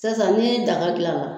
Sisan san ni daga gilan la